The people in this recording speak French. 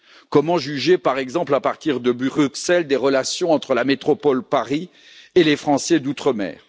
Comment juger, par exemple, à partir de Bruxelles, des relations entre la métropole Paris et les Français d'Outre mer?